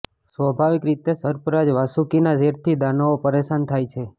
સ્વાભાવિક રીતે સર્પરાજ વાસુકીના ઝેરથી દાનવો પરેશાન થાય છે